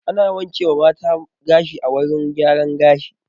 Ana wanke wa mata gashi a wurin gyaran gashi